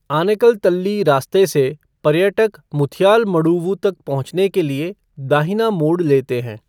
आनेकल तल्ली रास्ते से, पर्यटक मुथियालमडुवु तक पहुंचने के लिए दाहिना मोड़ लेते हैं।